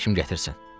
Atan həkim gətirsin.